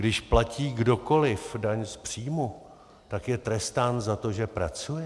Když platí kdokoliv daň z příjmu, tak je trestán za to, že pracuje?